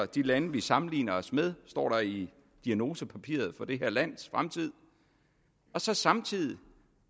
de lande vi sammenligner os med står der i diagnosepapiret for det her lands fremtid og så samtidig